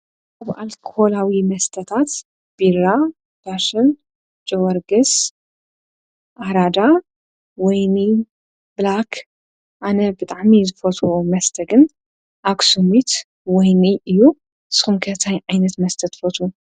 ኣብ ኣልኮላዊ መስተታት ቢራ ዳሽን፣ ጀወርጌስ ፣ኣራዳ ፣ወይኒ ፣ብላክ ኣነ ብጣዕሚ ዝፈትዎ መስተ ግን ኣክስሚት ወይኒ እዩ፡፡ ስኹም ከ ታይ ዓይነት መስተ ትፈቱው?